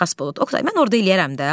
Xasbolat, Oqtay, mən orda eləyərəm də.